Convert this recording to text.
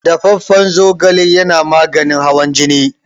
Dafaffan zogale yana maganin hawan jini.